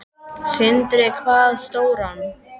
Sindri: Hvað stóran?